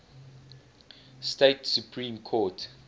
state supreme court